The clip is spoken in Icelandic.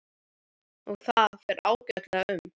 Og það fer ágætlega um mig.